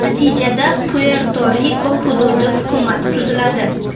Natijada, Puerto-Riko hududi hukumati tuziladi.